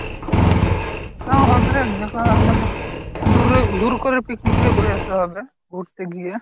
হা হবে যে করে হোক মানে, দূরে দূর করে picnic টা করে আসলে হবে, ঘুরতে গিয়ে।